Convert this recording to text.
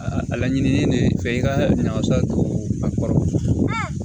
Aa laɲini ne ye fɛn i ka wasa don a kɔrɔ